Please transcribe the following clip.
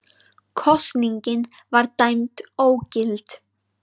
Kosningin var dæmd ógild